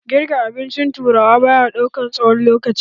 Girka abincin turawa baya ɗaukan tsawon lokaci.